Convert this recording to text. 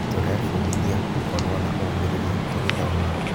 Tũrebundithia gũkorwo na ũmĩrĩrĩa tũgĩthoma.